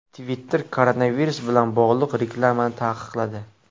Twitter koronavirus bilan bog‘liq reklamalarni taqiqladi.